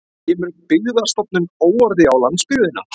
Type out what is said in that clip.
Kemur Byggðastofnun óorði á landsbyggðina